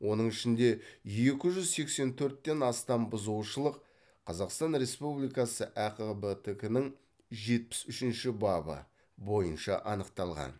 оның ішінде екі жүз сексен төрттен астам бұзушылық қазақстан республикасы әқбтк нің жетпіс үшінші бабы бойынша анықталған